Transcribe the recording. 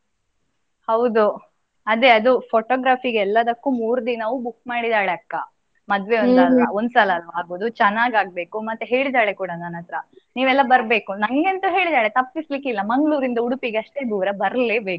ಹೌದು ಅದೇ ಅದು photography ಗೆ ಎಲ್ಲದಕ್ಕೂ ಮೂರು ದಿನವೂ book ಮಾಡಿದಾಳೆ ಅಕ್ಕ ಮದ್ವೆ ಒಂದ್ ಒನ್ಸಲ ಅಲ ಆಗುದು ಚೆನ್ನಾಗಿ ಆಗ್ಬೇಕು. ಮತ್ತೆ ಹೇಳಿದಾಳೆ ಕೂಡ ನನ್ ಹತ್ರ. ನೀವೆಲ್ಲ ಬರ್ಬೇಕು, ನಂಗೆ ಅಂತೂ ಹೇಳಿದಾಳೆ ತಪ್ಪಿಸ್ಲಿಕಿಲ್ಲ ಮಂಗಳೂರಿಂದ ಉಡುಪಿಗೆ ಅಷ್ಟೇ ದೂರ ಬರ್ಲೆಬೇಕು ಅಂತ.